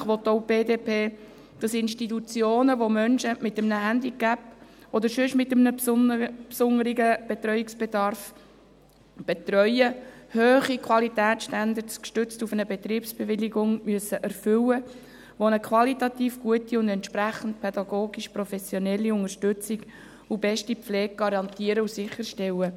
Selbstverständlich will auch die BDP, dass Institutionen, die Menschen mit einem Handicap oder mit sonst einem besonderen Betreuungsbedarf betreuen, hohe Qualitätsstandards erfüllen müssen, gestützt auf eine Betriebsbewilligung, die eine qualitativ gute und entsprechend pädagogisch professionelle Unterstützung und beste Pflege garantieren und sicherstellen.